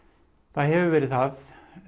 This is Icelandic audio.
það hefur verið það